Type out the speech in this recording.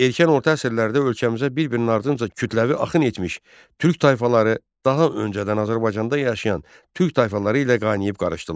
Erkən orta əsrlərdə ölkəmizə bir-birinin ardınca kütləvi axın etmiş türk tayfaları daha öncədən Azərbaycanda yaşayan türk tayfaları ilə qaynayıb qarışdılar.